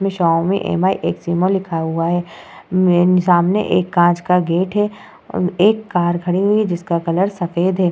लिखा हुआ है सामने एक कांच का गेट है एक कार खड़ी हुई है जिसका कलर सफ़ेद है।